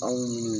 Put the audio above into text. Anw